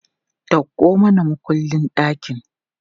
Dauko mana mukullin ɗakin!